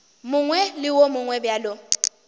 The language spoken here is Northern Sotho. mongwe le wo mongwe bjalo